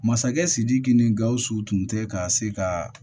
Masakɛ sidiki ni gausu tun tɛ ka se ka